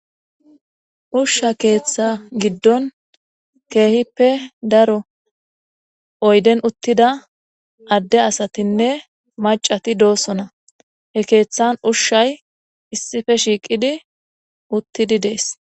ushsha keeththa giddon keehippe daro oyden uttida adde asatinne macati doosona he keeththan ushshay issife shiiqidi uttidi dees